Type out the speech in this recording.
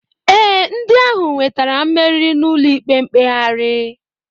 Ee, ndị ahụ nwetara mmeri n'ụlọikpe mkpegharị